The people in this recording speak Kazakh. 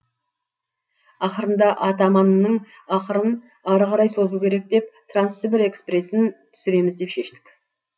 ақырында атаманның ақырын ары қарай созу керек деп трансібір экспресін түсіреміз деп шештік